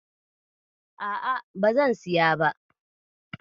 A'a bazan siya ba.